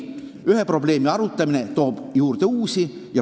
Ühe probleemi arutamine toob juurde uusi.